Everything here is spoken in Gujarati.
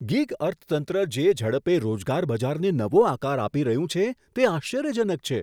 ગિગ અર્થતંત્ર જે ઝડપે રોજગાર બજારને નવો આકાર આપી રહ્યું છે, તે આશ્ચર્યજનક છે.